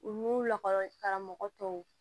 U n'u lakɔli karamɔgɔ tɔw